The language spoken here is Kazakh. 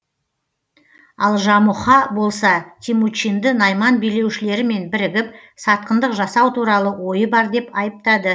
ал жамұха болса темучинды найман билеушілерімен бірігіп сатқындық жасау туралы ойы бар деп айыптады